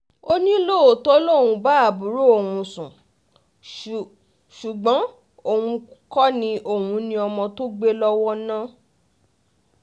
ó ní lóòótọ́ lòun ń bá àbúrò òun sùn sùn ṣùgbọ́n òun kò ní òun ní ọmọ tó gbé lọ́wọ́ náà